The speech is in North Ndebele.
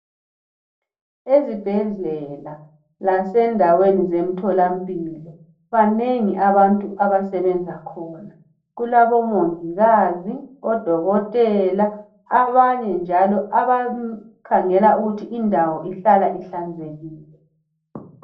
Ezibhedlela lasendaweni zemtholampilo banengi abantu abasebenza khona . Kulabomongikazi, odokotela abanye njalo abakhangela ukuthi indawo ihlala ihlanzekile.